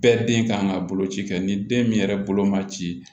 Bɛɛ den kan ka bolo ci kɛ ni den min yɛrɛ bolo ma ci